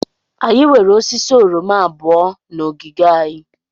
Anyị nwere osisi oroma abụọ na ogige anyị.